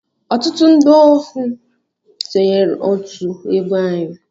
Ọtụtụ ndị ọhụụ sonyeere otú egwu anyị.